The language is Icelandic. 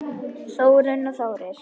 Þórunn og Þórir.